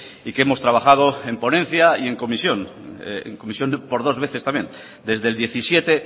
y que hemos trabajado en ponencia y en comisión en comisión por dos veces también desde el diecisiete